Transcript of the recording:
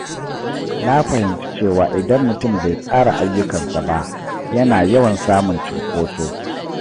Na fahimci cewa idan mutum bai tsara ayyukansa ba, yana yawan samun cunkoso.